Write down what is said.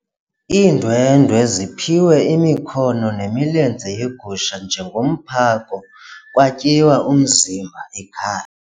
Iindwendwe ziphiwe imikhono nemilenze yegusha njengomphako kwatyiwa umzimba ekhaya.